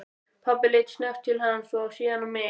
Pabbi leit snöggt til hans og síðan á mig.